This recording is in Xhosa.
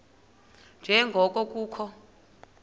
nje ngoko kukho